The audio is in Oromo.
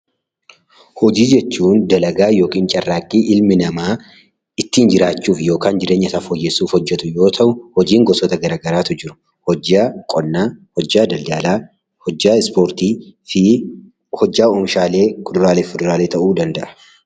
Hojii jechuun dalagaa yookaan carraaqqii ilmi namaa ittiin jiraachuuf yookaan jireenya isaa fooyyessuuf carraaqu yoo ta'u, hojiin gosa garaagaraatu jiru hojjaa qonnaa, hojjaa daldalaa, hojjaa ispoortii fi hojjaa oomishaalee kuduraalee fi muduraalee ta'uu danda'a.